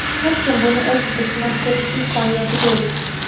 Har kim buni o‘zida sinab ko‘rish imkoniyatiga ega.